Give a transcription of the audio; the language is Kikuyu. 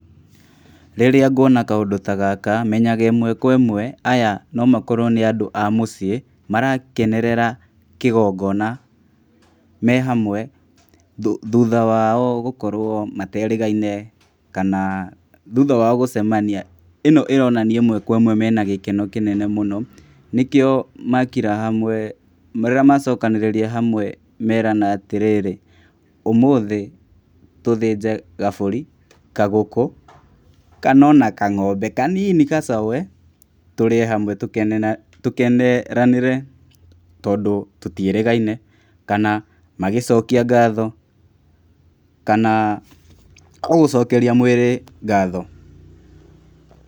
Rĩrĩa nguona kaũndũ ta gaka menyaga ĩmwe kwa ĩmwe aya no makorwo nĩ andũ a mũciĩ marakenerera kĩgongona mee hamwe, thutha wao gũkorwo materĩgaine kana thutha wao gũcemania, ĩno ĩronania ĩmwe kwa ĩmwe mena gĩkeno kĩnene mũno, nĩkĩo rĩrĩa macokanĩrĩra hamwe merana atĩrĩrĩ ũmũthĩ tũthĩnje kabũri, kagũkũ, kana ona kang'ombe kanini gacaũ tũrĩe hamwe tũkeneranĩre, tondũ tũtiĩrĩgaine, kana magĩcokia ngatho, kana no gũcokeria mwĩrĩ ngatho.